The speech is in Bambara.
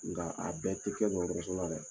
Nka a bɛɛ tɛ kɛ dɔgɔtɔrɔso la dɛ!